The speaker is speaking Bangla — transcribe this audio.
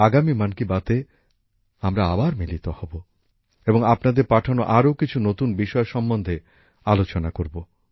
আগামী মন কি বাত এ আমরা আবার মিলিত হব এবং আপনাদের পাঠানো আরও কিছু নতুন বিষয় সম্বন্ধে আলোচনা করব